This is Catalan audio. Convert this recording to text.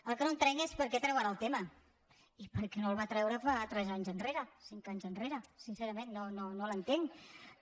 el que no entenc és per què treu ara el tema i per què no el va treure fa tres anys enrere cinc anys enrere sincerament no l’entenc no